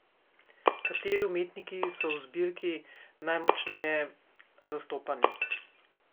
Kateri umetniki so v zbirki najmočneje zastopani?